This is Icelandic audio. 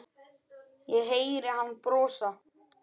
Ég heyri hann brosa.